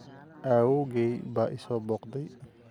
Awoowgay baa i soo booqday